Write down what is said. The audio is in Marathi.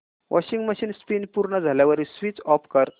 वॉशिंग मशीन स्पिन पूर्ण झाल्यावर स्विच ऑफ कर